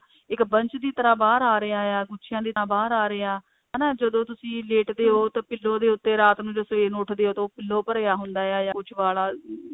ਇੱਕ ਵੰਸ਼ ਦੀ ਤਰ੍ਹਾਂ ਬਾਹਰ ਆ ਰਿਹਾ ਐ ਗੁੱਛੀਆਂ ਦੀ ਤਰ੍ਹਾਂ ਬਾਹਰ ਆ ਰਿਹਾ ਹਨਾ ਜਦੋਂ ਤੁਸੀਂ ਲੇਟਦੇ ਹੋ ਤਾਂ pillow ਦੇ ਉੱਤੇ ਰਾਤ ਨੂੰ ਜਦੋਂ ਸਵੇਰ ਨੂੰ ਉਠਦੇ ਹੋ ਤਾਂ ਉਹ pillow ਭਰਿਆ ਹੁੰਦਾ ਹੈ ਜਾ ਕੁੱਝ ਵਾਲਾਂ